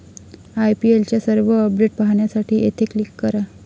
आयपीएलच्या सर्व अपडेट पाहण्यासाठी येथे क्लिक करा